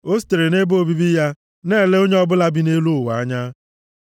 O sitere nʼebe obibi ya na-ele onye ọbụla bi nʼelu ụwa anya.